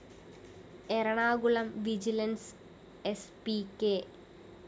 Ernakulam vigilance സ്‌ P K